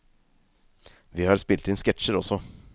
Vi har spilt inn sketsjer også.